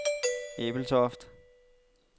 Ebeltoft